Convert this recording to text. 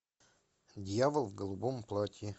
дьявол в голубом платье